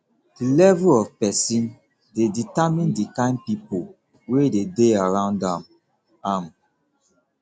di level of persin de determine di kind pipo wey de dey around am am